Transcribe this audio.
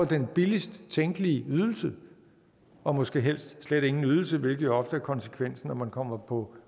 den billigst tænkelige ydelse og måske helst slet ingen ydelse hvilket jo ofte er konsekvensen når man kommer på